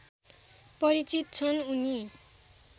परिचित छन् उनी